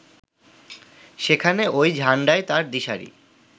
সেখানে ওই ঝান্ডাই তাঁর দিশারি